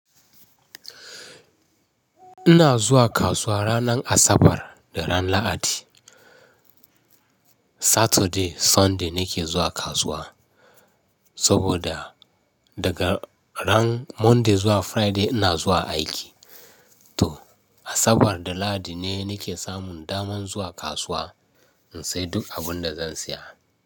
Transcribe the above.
Ina zuwa kasuwa ranar Asabar da ran Lahadi. Saturday, Sunday nake zuwa kasuwa saboda daga ran Monday zuwa Friday ina zuwa aiki. To Asabar da Lahadi ne nake samun daman zuwa kasuwa in sayi duk abun da zan siya.